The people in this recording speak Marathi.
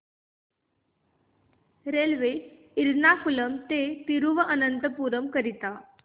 रेल्वे एर्नाकुलम ते थिरुवनंतपुरम करीता